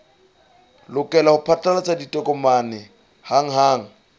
lokela ho phatlalatsa ditokomane hanghang